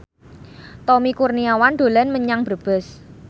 Tommy Kurniawan dolan menyang Brebes